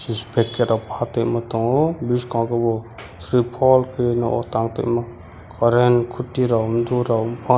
disfecterok patuima tongo biskang kebo srifall keioe nogo tang tui mo current koti rok omtow rok ungha.